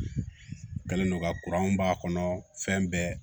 U kɛlen don ka b'a kɔnɔ fɛn bɛɛ